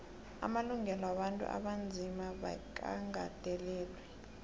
amalungelo wabantu abanzima bekagandelelwe